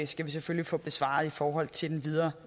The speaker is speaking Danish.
skal vi selvfølgelig få besvaret i forhold til den videre